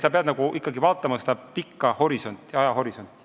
Sa pead ikkagi vaatama pikka ajahorisonti.